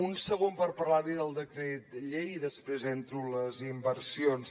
un segon per parlar li del decret llei i després entro en les inversions